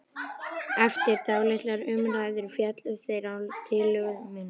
Eftir dálitlar umræður féllust þeir á tillögu mína.